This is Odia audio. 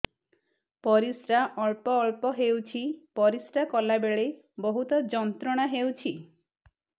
ପରିଶ୍ରା ଅଳ୍ପ ଅଳ୍ପ ହେଉଛି ପରିଶ୍ରା କଲା ବେଳେ ବହୁତ ଯନ୍ତ୍ରଣା ହେଉଛି